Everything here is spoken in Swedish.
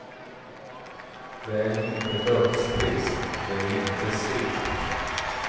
Det är inte dödstrist, det är inte segt.